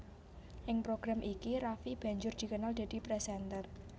Ing program iki Raffi banjur dikenal dadi presenter